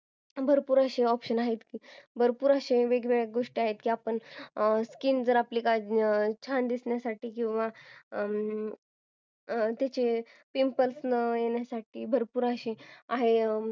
भरपूर असे options आहेत की जर आपण skin छान दिसण्यासाठी काळजी घेतली pimples न येण्यासाठी भरपूर अशी